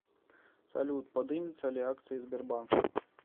салют подымется ли акции сбербанка